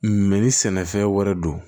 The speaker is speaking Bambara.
ni sɛnɛfɛn wɛrɛ don